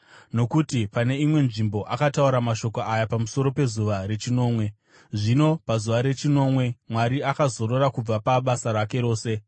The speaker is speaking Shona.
Nokuti pane imwe nzvimbo akataura mashoko aya pamusoro pezuva rechinomwe. “Zvino pazuva rechinomwe Mwari akazorora kubva pabasa rake rose.”